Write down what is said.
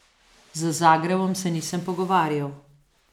Z Zagrebom se nisem pogovarjal.